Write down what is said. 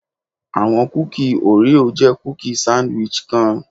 Awọn kuki Oreo jẹ kuki sandwich kan